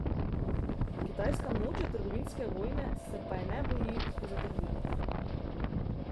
Kitajska noče trgovinske vojne, se je pa ne boji, so zatrdili.